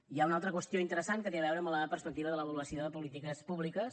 hi ha una altra qüestió interessant que té a veure amb la perspectiva de l’avaluació de polítiques públiques